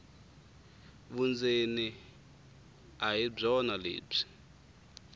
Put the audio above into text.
vundzeni a hi byona lebyi